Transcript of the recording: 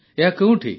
ଏହା କେଉଁଠି